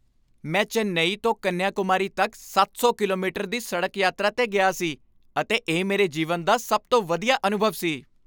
ਮੈਂ ਚੇਨਈ ਤੋਂ ਕੰਨਿਆਕੁਮਾਰੀ ਤੱਕ ਸੱਤ ਸੌ ਕਿਲੋਮੀਟਰ ਦੀ ਸੜਕ ਯਾਤਰਾ 'ਤੇ ਗਿਆ ਸੀ ਅਤੇ ਇਹ ਮੇਰੇ ਜੀਵਨ ਦਾ ਸਭ ਤੋਂ ਵਧੀਆ ਅਨੁਭਵ ਸੀ